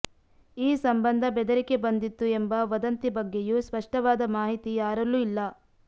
ಈ ಸಂಬಂಧ ಬೆದರಿಕೆ ಬಂದಿತ್ತು ಎಂಬ ವದಂತಿ ಬಗ್ಗೆಯೂ ಸ್ಪಷ್ಟವಾದ ಮಾಹಿತಿ ಯಾರಲ್ಲೂ ಇಲ್ಲ